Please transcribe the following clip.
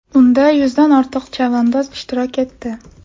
Unda yuzdan ortiq chavandoz ishtirok etdi.